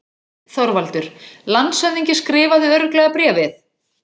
ÞORVALDUR: Landshöfðingi skrifaði örugglega bréfið?